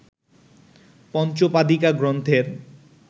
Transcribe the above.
পঞ্চপাদিকা গ্রন্থের